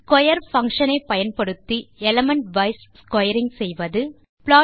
square function ஐ பயன்படுத்தி elementwise squaring செய்வது